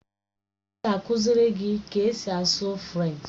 Ọ ga-akụziri gị ka esi asụ Frenchi?